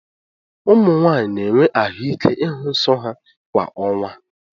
Ụmụ nwanyị na-enwe ahụ́ ike ịhụ nsọ ha kwa ọnwa.